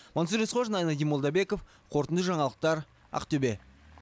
мансұр есқожин айнадин молдабеков қорытынды жаңалықтар ақтөбе